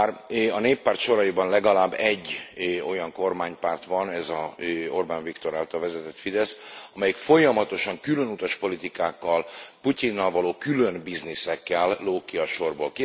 Bár a Néppárt soraiban legalább egy olyan kormánypárt van ez az Orbán Viktor által vezetett Fidesz amelyik folyamatosan különutas politikákkal, Putyinnal való külön bizniszekkel lóg ki a sorból.